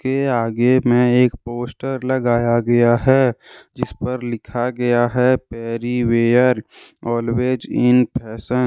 के आगे में एक पोस्टर लगाया गया है जिस पर लिखा गया है पैरीवेयर ऑलवेज इन फैशन